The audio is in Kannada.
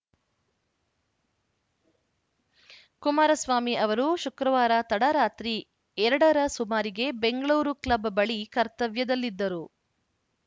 ಕುಮಾರಸ್ವಾಮಿ ಅವರು ಶುಕ್ರವಾರ ತಡರಾತ್ರಿ ಎರಡ ರ ಸುಮಾರಿಗೆ ಬೆಂಗಳೂರು ಕ್ಲಬ್‌ ಬಳಿ ಕರ್ತವ್ಯದಲ್ಲಿದ್ದರು